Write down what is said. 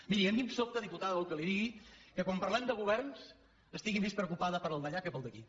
miri a mi em sobta diputada si vol que li digui que quan parlem de governs estigui més preocupada pel d’allà que pel d’aquí